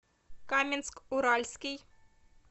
каменск уральский